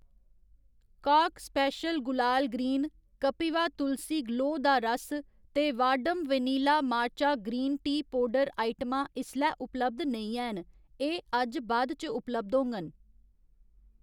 काक स्पैशल गुलाल ग्रीन, कपीवा तुलसी गलोऽ दा रस ते Vahdam vanilla matcha green tea powder आइटमां इसलै उपलब्ध नेईं हैन, एह्‌‌ अज्ज बाद च उपलब्ध होङन।